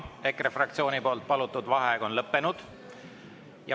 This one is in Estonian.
EKRE fraktsiooni palutud vaheaeg on lõppenud.